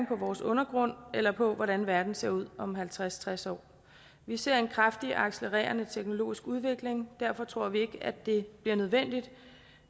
på vores undergrund eller på hvordan verden ser ud om halvtreds til tres år vi ser en kraftigt accelererende teknologisk udvikling og derfor tror vi ikke at det bliver nødvendigt